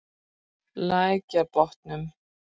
Lækjarbotnum